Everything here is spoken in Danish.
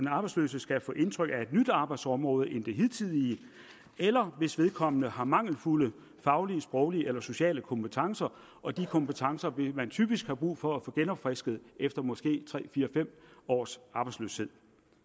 arbejdsløse skal få indtryk af et nyt arbejdsområde end det hidtidige eller hvis vedkommende har mangelfulde faglige sproglige eller sociale kompetencer og de kompetencer vil man typisk have brug for at få genopfrisket efter måske tre fire fem års arbejdsløshed